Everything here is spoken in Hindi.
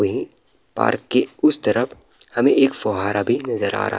वहीं पार्क के उस तरफ़ हमें एक फव्वारा भी नजर आ रहा --